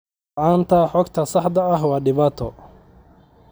La'aanta xogta saxda ah waa dhibaato.